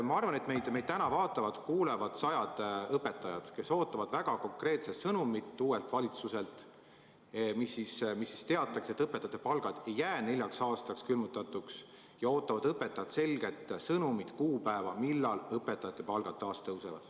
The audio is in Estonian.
Ma arvan, et täna vaatavad-kuulavad meid sajad õpetajad, kes ootavad uuelt valitsuselt väga konkreetset sõnumit, mis teataks, et õpetajate palgad ei jää neljaks aastaks külmutatuks, ja selget sõnumit, kuupäeva, millal õpetajate palgad taas tõusevad.